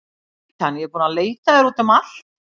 Glætan, ég er búin að leita að þér út um allt.